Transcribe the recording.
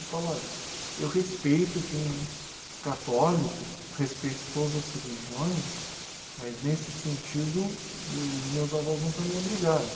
Eu falo, olha, eu respeito quem é católico, respeito todas as religiões, mas nesse sentido os os meus avós nunca me obrigaram.